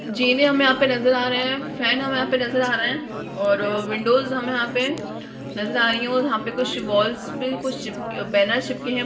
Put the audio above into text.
जीने हमें यहाँ पे नज़र आ रहे हैं फैन हमें हमें यहाँ पर नज़र आ रहे हैं और विंडोज हमें यहाँ पे नज़र आ रही है और यहाँ पे कुछ वाल्स पे कुछ चिप बैनर्स चिपके हैं।